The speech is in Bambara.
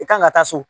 I kan ka taa so